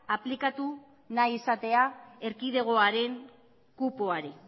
aplikatu nahi izatea erkidegoaren kupoari